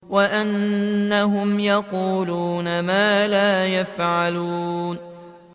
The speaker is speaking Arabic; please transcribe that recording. وَأَنَّهُمْ يَقُولُونَ مَا لَا يَفْعَلُونَ